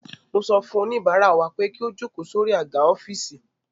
Mo sọ fún oníbàárà wa pé kí ó jókòó sórí àga ọ́fíìsì